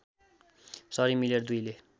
sorry मिलेर दुईले